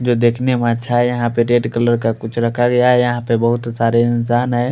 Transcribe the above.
जो देखने में अच्छा है यहाँ पर रेड कलर का कुछ रखा गया है यह पर बोहोत सारे इंसान है।